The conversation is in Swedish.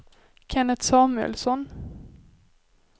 Kenneth Samuelsson